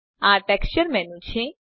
આ ટેક્સચર મેનું છે